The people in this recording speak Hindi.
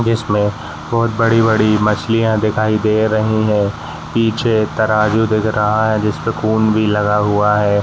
जिसमे बहोत बड़ी-बड़ी मछलियाँ दिखाई दे रही है। पीछे तराजू दिख रहा है जिस पे खून भी लगा हुआ है।